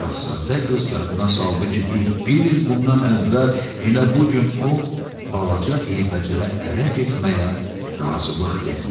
Şahzadə qız yadına saldı ki, düz bir il bundan əvvəl elə bu gün o balaca eybəcərə ərə getməyə razılıq vermişdi.